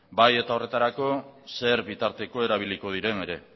baita horretarako zer bitarteko erabiliko diren ere